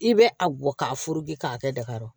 I bɛ a bɔ k'a furu bi k'a kɛ daga kɔrɔ